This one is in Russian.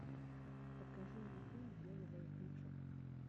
покажи мне фильм белый воротничок